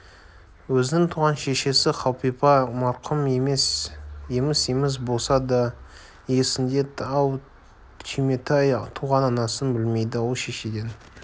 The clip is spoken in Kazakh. өзінің туған шешесі қалипа марқұм еміс-еміс болса да есінде ал түйметай туған анасын білмейді ол шешеден